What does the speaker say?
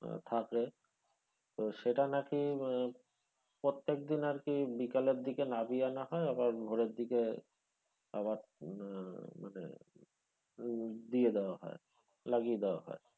থাকে তো সেটা নাকি উম প্রত্যেকদিন আরকি বিকেলের দিকে নামিয়ে আনা হয় আবার ভোরের দিকে আবার আহ মানে উম দিয়ে দেওয়া হয়, লাগিয়ে দেওয়া হয়।